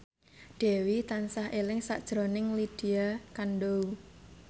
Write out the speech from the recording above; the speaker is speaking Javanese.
Dewi tansah eling sakjroning Lydia Kandou